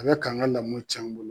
A bɛ ka an ŋa lamɔ tiɲ'an bolo .